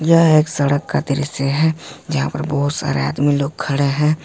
यह एक सड़क का दृश्य है जहां पर बहुत सारे आदमी लोग खड़े हैं।